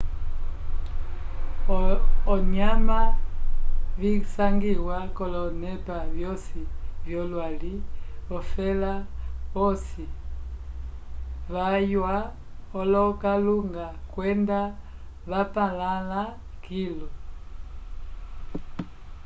ovinyama visangiwa k'olonepa vyosi vyolwali vafẽla posi vaywa olokalunga kwenda vapalãla kilu